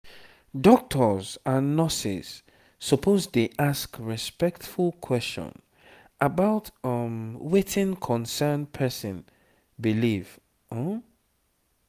doctors and nurses suppose dey ask respectful question about um wetin concern person belief um